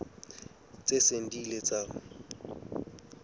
tse seng di ile tsa